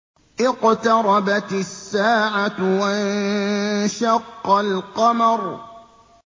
اقْتَرَبَتِ السَّاعَةُ وَانشَقَّ الْقَمَرُ